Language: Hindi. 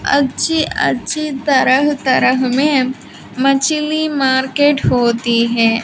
अच्छी अच्छी तरह तरह में मछली मार्केट होती है।